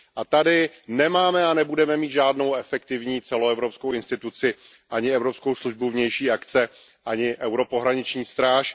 Tady nemáme a nebudeme mít žádnou efektivní celoevropskou instituci, ani Evropskou službu pro vnější činnost, ani evropskou pohraniční stráž.